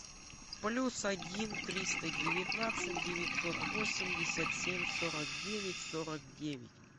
плюс один триста девятнадцать девятьсот восемьдесят семь сорок девять сорок девять